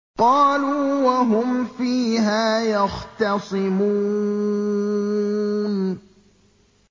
قَالُوا وَهُمْ فِيهَا يَخْتَصِمُونَ